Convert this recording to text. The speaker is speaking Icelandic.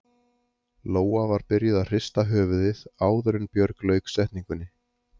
Lóa var byrjuð að hrista höfuðið áður en Björg lauk setningunni.